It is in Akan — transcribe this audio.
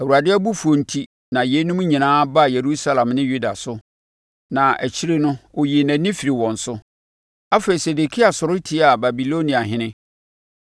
Awurade abufuo enti na yeinom nyinaa baa Yerusalem ne Yuda so, na akyire no, ɔyii nʼani firii wɔn so. Afei, Sedekia sɔre tiaa Babiloniahene.